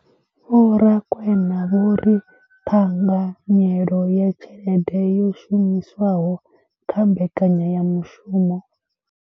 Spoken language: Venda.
Vho Rakwena vho ri ṱhanganyelo ya tshelede yo shumiswaho kha mbekanyamushumo.